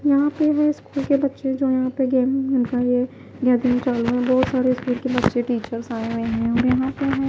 यहां पे वो स्कूल के बच्चे जो है यहां पे गेम भी है बहोत सारे स्कूल के बच्चे टीचर्स आये हुएं हैं हमे है --